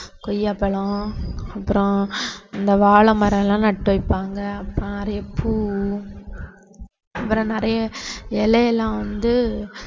கொய்யாப்பழம் அப்புறம் இந்த வாழை மரம் எல்லாம் நட்டு வைப்பாங்க அப்புறம் நிறைய பூ அப்புறம் நிறைய இலை எல்லாம் வந்து